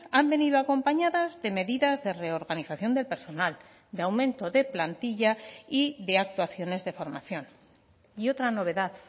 han venido acompañadas de medidas de reorganización del personal de aumento de plantilla y de actuaciones de formación y otra novedad